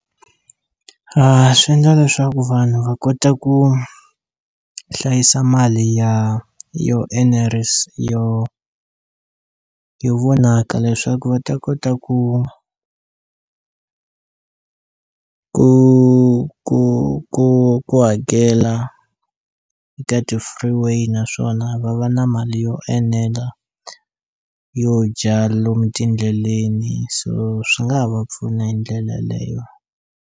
Swi ndla leswaku vanhu va kota ku hlayisa mali ya yo enerisa yo yo vonaka leswaku va ta kota ku ku ku ku ku hakela eka ti-free way naswona va va na mali yo enela yo dya lomu tindleleni so swi nga ha va pfuna hi ndlela leyo.